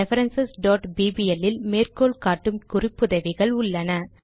reference bbl இல் மேற்கோள் காட்டும் குறிப்புதவிகள் உள்ளன